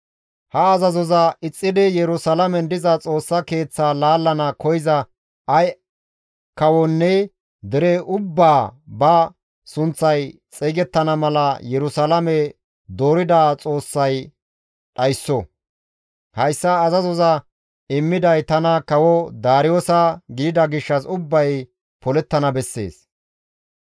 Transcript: Ha azazoza ixxidi Yerusalaamen diza Xoossa Keeththaa laallana koyza ay kawonne dere ubbaa ba sunththay xeygettana mala Yerusalaame doorida Xoossay dhaysso; hayssa azazoza immiday tana kawo Daariyoosa gidida gishshas ubbay polettana bessees.»